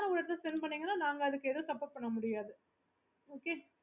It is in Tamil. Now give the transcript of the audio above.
ரொம்ப நேரம் ஒரு எடத்துல spend பின்னீங்கன்னா நாங்க அதுக்கு ஏதும் suppport பண்ண முடியாது okay